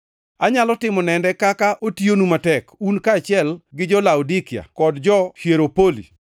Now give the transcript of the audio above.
Anyalo timo nende kaka otiyonu matek, un kaachiel gi jo-Laodikia kod jo-Hieropoli.